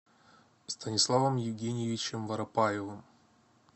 станиславом евгеньевичем воропаевым